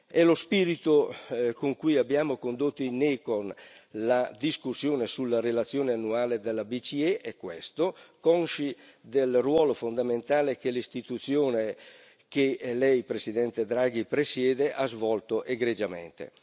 E lo spirito con cui abbiamo condotto in commissione ECON la discussione sulla relazione annuale della BCE è questo, consci del ruolo fondamentale che l'istituzione che Lei, Presidente Draghi presiede, ha svolto egregiamente.